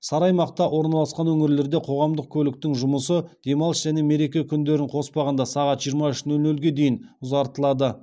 сары аймақта орналасқан өңірлерде қоғамдық көліктің жұмысы демалыс және мереке күндерін қоспағанда сағат жиырма үш нөл нөлге дейін ұзартылады